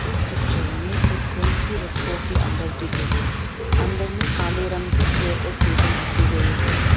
इस पिक्चर में एक फैंसी रेस्ट्रो के अंदर दिख रहे हैं अंदर में काले रंग की चेयर और टेबल रखी गई है।